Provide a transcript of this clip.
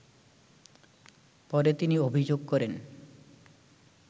পরে তিনি অভিযোগ করেন